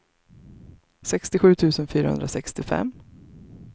sextiosju tusen fyrahundrasextiofem